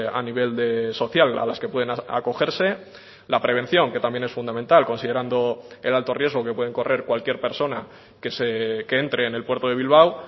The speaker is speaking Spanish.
a nivel social a las que pueden acogerse la prevención que también es fundamental considerando el alto riesgo que pueden correr cualquier persona que entre en el puerto de bilbao